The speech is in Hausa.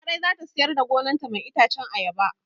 Larai zata siyar da gonan ta mai itacen ayaba